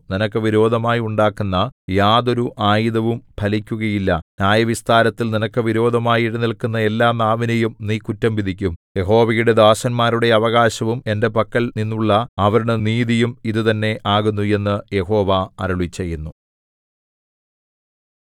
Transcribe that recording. നിനക്ക് വിരോധമായി ഉണ്ടാക്കുന്ന യാതൊരു ആയുധവും ഫലിക്കുകയില്ല ന്യായായവിസ്താരത്തിൽ നിനക്ക് വിരോധമായി എഴുന്നേല്ക്കുന്ന എല്ലാ നാവിനെയും നീ കുറ്റം വിധിക്കും യഹോവയുടെ ദാസന്മാരുടെ അവകാശവും എന്റെ പക്കൽ നിന്നുള്ള അവരുടെ നീതിയും ഇതുതന്നെ ആകുന്നു എന്നു യഹോവ അരുളിച്ചെയ്യുന്നു